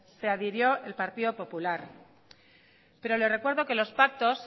se adhirió el partido popular pero le recuerdo que los pactos